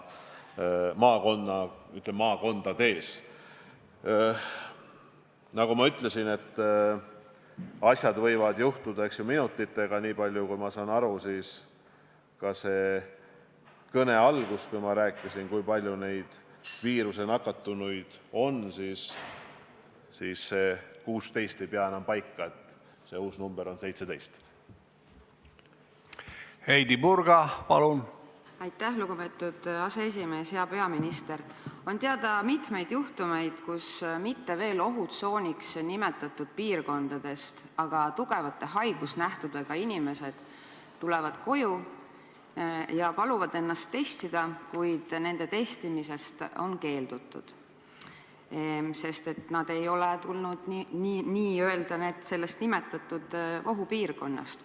On teada mitmeid juhtumeid, kus tugevate haigusnähtudega inimesed tulevad koju mitte veel ohutsooniks nimetatud piirkondadest ja paluvad ennast testida, kuid nende testimisest on keeldutud, sest nad ei ole tulnud n-ö ohupiirkonnast.